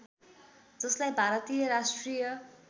जसलाई भारतीय राष्ट्रिय